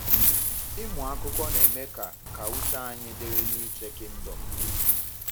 Ịmụ akụkọ na-eme ka ka uche anyị dịrị n’iche Kingdom n’ihu.